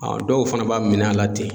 dɔw fana b'a minɛ a la ten.